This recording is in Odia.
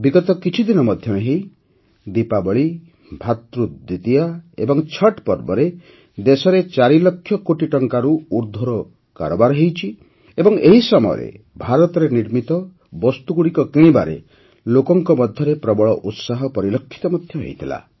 ବିଗତ କିଛିଦିନ ମଧ୍ୟରେ ହିଁ ଦୀପାବଳୀ ଭ୍ରାତୃଦ୍ୱିତୀୟା ଏବଂ ଛଟ୍ ପର୍ବରେ ଦେଶରେ ଚାରି ଲକ୍ଷ କୋଟି ଟଙ୍କାରୁ ଉର୍ଦ୍ଧ୍ୱର କାରବାର ହୋଇଛି ଏବଂ ଏହି ସମୟରେ ଭାରତରେ ନିର୍ମିତ ବସ୍ତୁଗୁଡ଼ିକ କିଣିବାରେ ଲୋକଙ୍କ ମଧ୍ୟରେ ପ୍ରବଳ ଉତ୍ସାହ ପରିଲକ୍ଷିତ ହୋଇଥିଲା